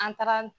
An taara